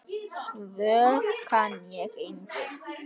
Svör kann ég engin.